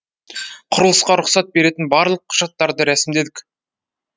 құрылысқа рұқсат беретін барлық құжаттарды рәсімдедік